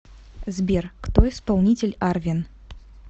сбер кто исполнитель арвен